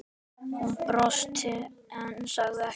Hún brosti en sagði ekkert.